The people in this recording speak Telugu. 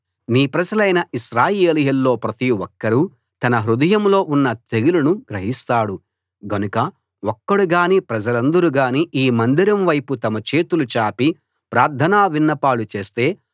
నీ ప్రజలైన ఇశ్రాయేలీయుల్లో ప్రతి ఒక్కరూ తన హృదయంలో ఉన్న తెగులును గ్రహిస్తాడు గనక ఒక్కడు గానీ ప్రజలందరూ గానీ ఈ మందిరం వైపు తమ చేతులు చాపి ప్రార్థనా విన్నపాలు చేస్తే